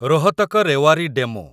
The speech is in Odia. ରୋହତକ ରେୱାରୀ ଡେମୁ